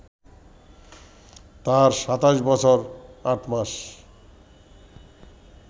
তার ২৭ বছর ৮ মাস